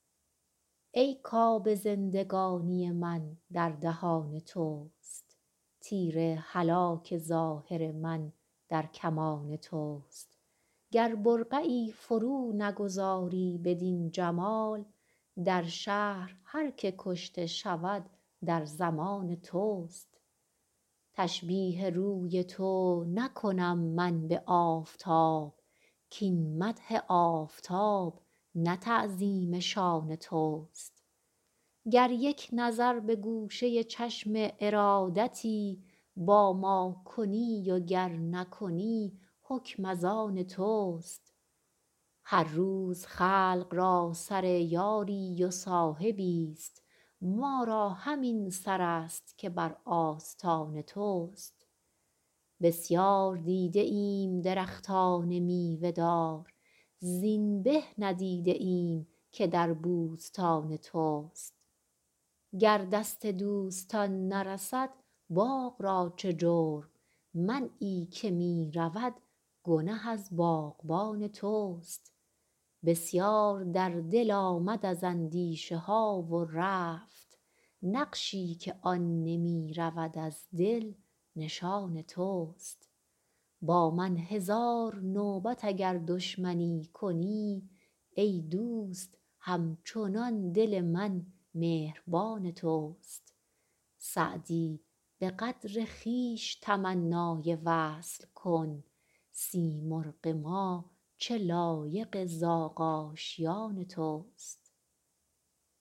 ای کآب زندگانی من در دهان توست تیر هلاک ظاهر من در کمان توست گر برقعی فرو نگذاری بدین جمال در شهر هر که کشته شود در ضمان توست تشبیه روی تو نکنم من به آفتاب کاین مدح آفتاب نه تعظیم شان توست گر یک نظر به گوشه چشم ارادتی با ما کنی و گر نکنی حکم از آن توست هر روز خلق را سر یاری و صاحبی ست ما را همین سر است که بر آستان توست بسیار دیده ایم درختان میوه دار زین به ندیده ایم که در بوستان توست گر دست دوستان نرسد باغ را چه جرم منعی که می رود گنه از باغبان توست بسیار در دل آمد از اندیشه ها و رفت نقشی که آن نمی رود از دل نشان توست با من هزار نوبت اگر دشمنی کنی ای دوست هم چنان دل من مهربان توست سعدی به قدر خویش تمنای وصل کن سیمرغ ما چه لایق زاغ آشیان توست